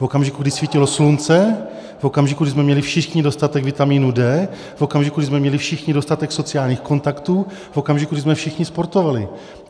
V okamžiku, kdy svítilo slunce, v okamžiku, kdy jsme měli všichni dostatek vitamínu D, v okamžiku, kdy jsme měli všichni dostatek sociálních kontaktů, v okamžiku, kdy jsme všichni sportovali.